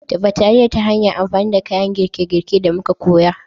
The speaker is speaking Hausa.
Dafa taliyar ta hanyar amfani da kayan girke-girke da muka koya